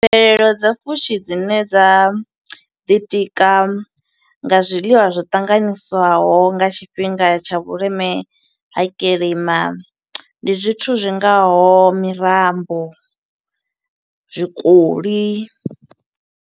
Mbadelelo dza fushi dzine dza ḓi tika nga zwiḽiwa zwo ṱanganyiswaho nga tshifhinga tsha vhuleme, ha kilima, ndi zwithu zwingaho mirambo, zwikoli.